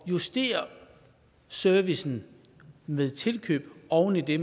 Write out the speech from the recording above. at justere servicen med tilkøb oven i det